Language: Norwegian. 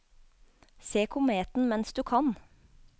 Se kometen mens du kan!